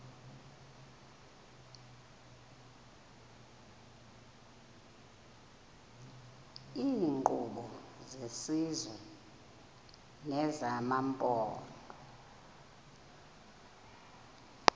iinkqubo zesizwe nezamaphondo